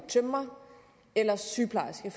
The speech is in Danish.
tømrer eller sygeplejerske